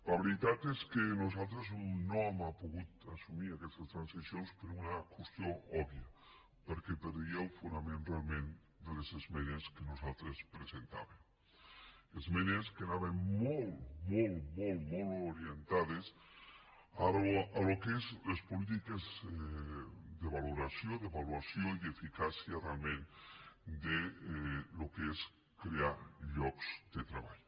la veritat és que nosaltres no hem pogut assumir aquestes transaccions per una qüestió òbvia perquè perdia el fonament realment de les esmenes que nosaltres presentàvem esmenes que anaven molt molt molt orientades al que són les polítiques de valoració d’avaluació i d’eficàcia realment del que és crear llocs de treball